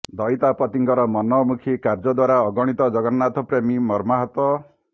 ଦଇତା ପତିଙ୍କର ମନମୁଖୀ କାର୍ଯ୍ୟଦ୍ୱାରା ଅଗଣିତ ଜଗନ୍ନାଥ ପ୍ରେମୀ ମର୍ମାହତ